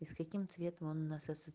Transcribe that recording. с каким цветом он нас с